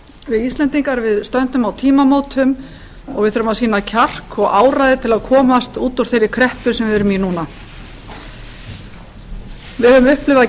við íslendingar stöndum á tímamótum og við þurfum að sýna kjark og áræði til að komast út úr þeirri kreppu sem við erum í núna við höfum upplifað